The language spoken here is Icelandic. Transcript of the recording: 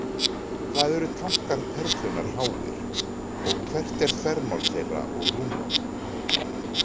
Hvað eru tankar Perlunnar háir, og hvert er þvermál þeirra og rúmmál?